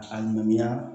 A ŋaniya